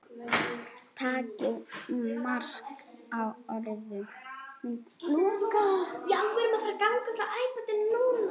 Takið mark á orðum mínum.